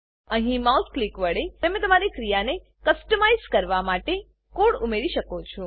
અહીં mouse click વડે તમે તમારી ક્રિયાને કસ્ટમાઇઝ કરવા માટે કોડ ઉમેરી શકો છો